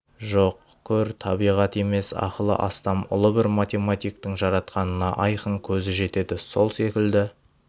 жоқ көр табиғат емес ақылы астам ұлы бір математиктің жаратқанынына айқын көзі жетеді сол секілді